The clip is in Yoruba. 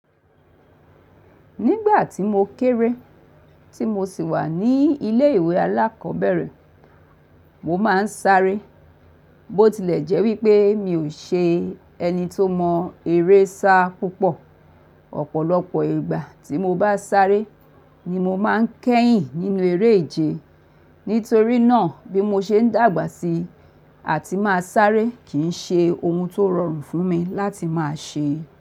Nígbà tí mo kéré, tí mo sì wà ní ilé ìwé alákọ̀ọ́bẹ̀rẹ̀, mo máa ń sáré. Bó tilẹ̀ jẹ́ wípé mi ò ṣe ẹni tó mọ eré sá púpọ̀. Ọ̀pọ̀lọpọ̀ ìgbà tí mo bá sáré ni mo máa ń kẹ́yìn nínú eré ìje. Nítorí náà bí mo ṣe ń dàgbà síi, àti máa sáré kì í ṣe ohun tó rọrùn fún mi láti máa ṣe.